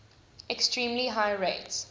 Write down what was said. extremely high rates